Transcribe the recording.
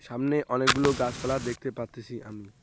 সামনে অনেকগুলো গাছপালা দেখতে পারতেছি আমি।